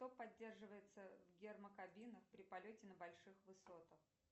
что поддерживается в гермокабинах при полете на больших высотах